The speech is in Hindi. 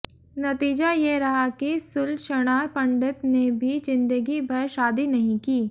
नतीजा ये रहा कि सुलक्षणा पंडित ने भी जिंदगी भर शादी नहीं की